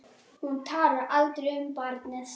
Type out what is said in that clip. Hún talar aldrei um barnið.